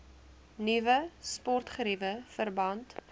nuwe sportgeriewe verband